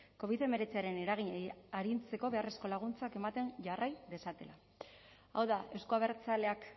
covid hemeretziaren eraginei arintzeko beharrezko laguntzak ematen jarrai dezatela hau da euzko abertzaleak